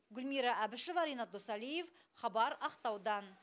гүлмира әбішева ренат досалиев хабар ақтаудан